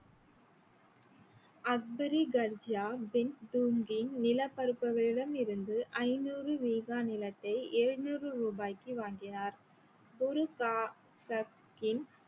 அக்பரி கர்ஜியா பின் தூகின் நிலப்பரப்புகளிடமிருந்து ஐநூறு வீகா நிலத்தை ஏழுநூறு ருபாய்க்கு வாங்கினார் குரு சா~ சக்கின்